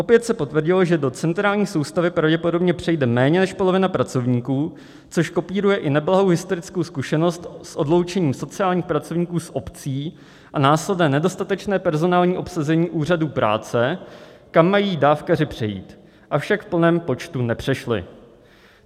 Opět se potvrdilo, že do centrální soustavy pravděpodobně přejde méně než polovina pracovníků, což kopíruje i neblahou historickou zkušenost s odloučením sociálních pracovníků z obcí a následné nedostatečné personální obsazení úřadů práce, kam mají dávkaři přejít, avšak v plném počtu nepřešli.